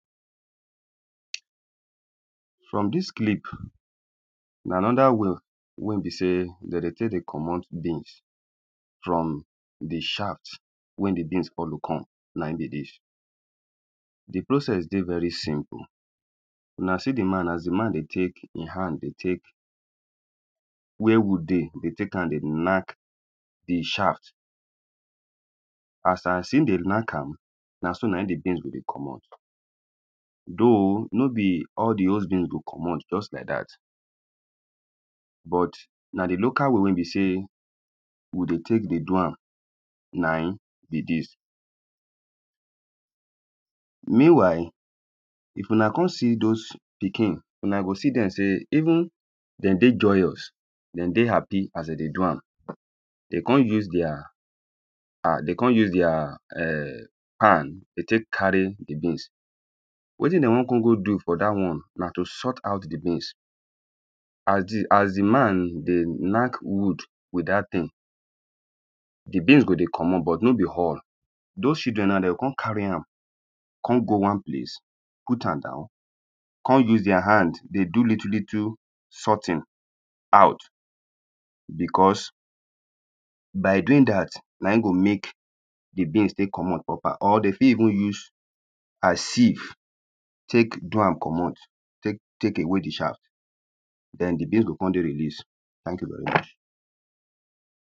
From dis clip, na another way wey be say dem dey take dey comot beans from di shaft wey di beans follow come, na im be dis. Di process dey very simple. Una see di man as di man dey take im hand dey take wey wood dey, dey take am dey knack di shaft. As im dey knack am, na so na im di beans go dey comot. Though no be all di whole beans go comot just like that, but but na di local way wey be say we dey take dey do am na im be dis. Meanwhile, if una come see those pikin, una go see dem say even dem dey joyous, dem dey happy as dem dey do am. Dey kon use dia, dem kon use dia um pan dey take carry di beans. Wetin dem wan kon go do for that one na to sort out di beans. As di, as di man dey knack wood with that thing, di beans go dey comot but no be all. Those children now dem go kon carry am, kon go one place, put am down, kon use dia hand dey do little little sorting out because by doing that, na im go make di beans take comot proper or dey fit even use a sieve take do am comot, take away di shaft. Then di beans go kon dey released. Thank you very much.